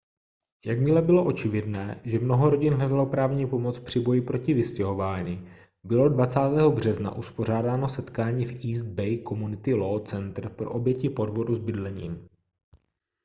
jakmile bylo očividné že mnoho rodin hledalo právní pomoc při boji proti vystěhování bylo 20. března uspořádáno setkání v east bay community law center pro oběti podvodu s bydlením